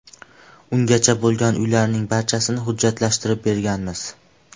Ungacha bo‘lgan uylarning barchasini hujjatlashtirib berganmiz.